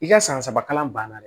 I ka san saba kalan banna